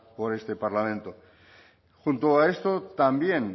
por este parlamento junto a esto también